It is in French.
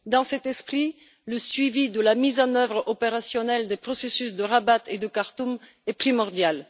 Dans cet esprit, le suivi de la mise en œuvre opérationnelle des processus de Rabat et de Khartoum est primordial.